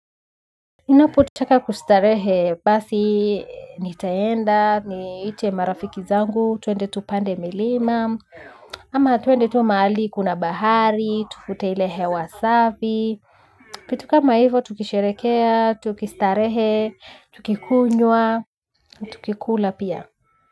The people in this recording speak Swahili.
Ninapo taka kustarehe basi nitaenda, ni ite marafiki zangu, tuende tupande milima, ama tuende tuwa mahali kuna bahari, tuvute hile hewasafi, kitu kama hivo tukisherekea, tukistarehe, tukikunywaa, tukikula pia.